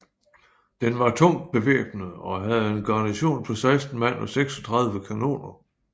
Den var tungt bevæbnet og havde en garnison på 16 mand og 36 kanoner